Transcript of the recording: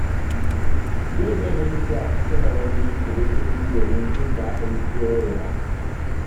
Yau zan yi tafiya kusa da wani kududdufi domin jin daɗin kewayena.